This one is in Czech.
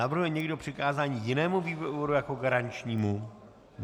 Navrhuje někdo přikázání jinému výboru jako garančnímu?